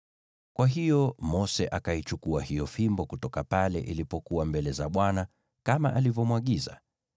Kwa hiyo Mose akaichukua hiyo fimbo kutoka pale ilipokuwa mbele za Bwana kama alivyomwagiza.